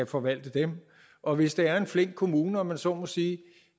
forvalte og hvis det er en flink kommune om man så må sige